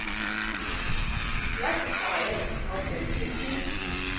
ya setšhaba ya diprofense e